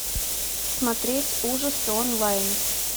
смотреть ужасы онлайн